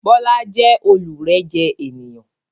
Bọlá jẹ́ olurẹ́jẹ ènìyàn